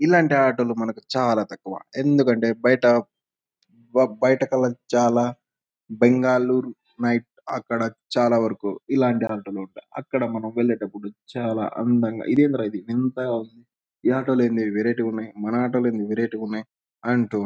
ఇల్లాంటి auto లు మనకి చాల తక్కువ ఎందుకంటే బయట బ బయట కల చాల బెంగాళూరు నైట్ అక్కడ చాల వరకు ఇల్లాంటి ఆటో చాల ఉంటాయి.అక్కడ మనం వెళ్లేటప్పుడు చాల అందంగా ఇదెందిరా ఇది వింతగా ఉంది. ఈ ఆటో లు ఏంది వెరైటీ గా ఉన్నాయి.మన ఆటో లు ఏంది వెరైటీ గా ఉన్నాయి అంటూ --